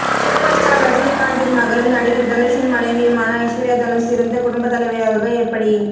super star ரஜினிகாந்தின் மகளும் நடிகர் தனுஷின் மனைவியுமான ஐஸ்வர்யா தனுஷ் சிறந்த குடும்பத்தலைவியாக எப்படி